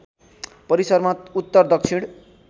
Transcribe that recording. परिसरमा उत्‍तर दक्षिण